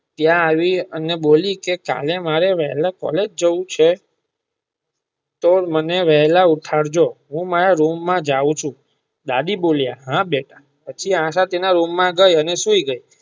ત્યાં આવી અને બોલી મારે કાલે વેલા કૉલેજ જવું છે તો મને વહેલા ઉઠાડ જો હું મારા રૂમ માં જાવ છું દાદી બોલિયાં હા બેટા પછી આશા તેના રૂમ માં ગઈ અને સુઈ ગઈ.